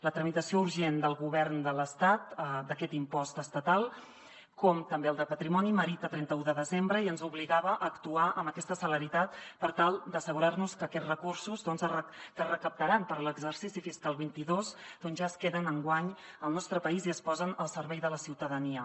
la tramitació urgent del govern de l’estat d’aquest impost estatal com també el de patrimoni merita el trenta un de desembre i ens obligava a actuar amb aquesta celeritat per tal d’assegurarnos que aquests recursos que es recaptaran per a l’exercici fiscal vint dos doncs ja es queden enguany al nostre país i es posen al servei de la ciutadania